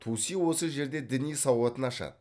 туси осы жерде діни сауатын ашады